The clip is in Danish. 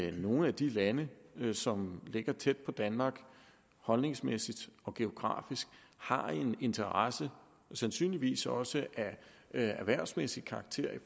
at nogle af de lande som ligger tæt på danmark holdningsmæssigt og geografisk har en interesse sandsynligvis også af erhvervsmæssig karakter